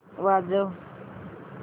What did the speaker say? वाजव